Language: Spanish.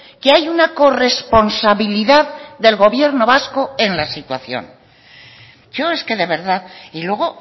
que hay una corresponsabilidad del gobierno vasco en la situación yo es que de verdad y luego